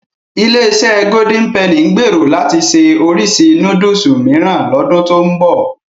Ilé-iṣẹ́ Golden Penny ń gbèrò láti ṣe oríṣi núdùsù mìíràn lọ́dún tó ń bọ̀.